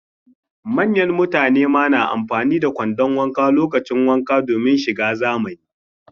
Manyan mutane ma na amfani da kwandon wanka lokacin wanka domin shiga zamani